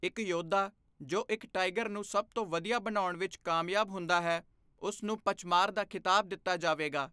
ਇੱਕ ਯੋਧਾ ਜੋ ਇੱਕ ਟਾਈਗਰ ਨੂੰ ਸਭ ਤੋਂ ਵਧੀਆ ਬਣਾਉਣ ਵਿੱਚ ਕਾਮਯਾਬ ਹੁੰਦਾ ਹੈ, ਉਸ ਨੂੰ 'ਪਚਮਾਰ' ਦਾ ਖ਼ਿਤਾਬ ਦਿੱਤਾ ਜਾਵੇਗਾ।